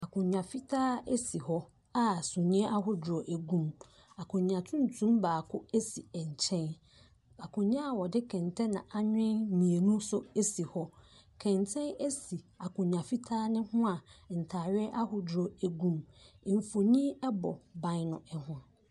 Akondwa fitaa esi hɔ a sumii ahodoɔ egu mu akondwa tuntum baako esi nkyɛn akondwa a wɔde kɛntɛn na anwen mienu nso esi hɔ kɛntɛn esi akondwa fitaa no ho a ntaadeɛ ahodoɔ egu mu emfonin ɛbɔ ban no ho.